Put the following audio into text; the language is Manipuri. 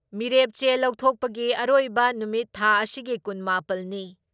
ꯃꯤꯔꯦꯞ ꯆꯦ ꯂꯧꯊꯣꯛꯄꯒꯤ ꯑꯔꯣꯏꯕ ꯅꯨꯃꯤꯠ ꯊꯥ ꯑꯁꯤꯒꯤ ꯀꯨꯟ ꯃꯥꯄꯜ ꯅꯤ ꯫